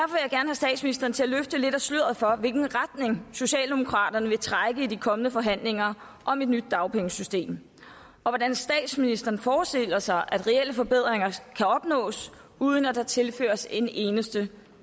statsministeren til at løfte lidt af sløret for i hvilken retning socialdemokraterne vil trække i de kommende forhandlinger om et nyt dagpengesystem og hvordan statsministeren forestiller sig at reelle forbedringer kan opnås uden at der tilføres en eneste